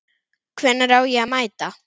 Hvenær á ég að mæta?